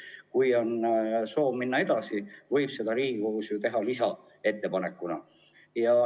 Aga kui on soov minna kaugemale, võib seda teha Riigikogus lisaettepanekuna.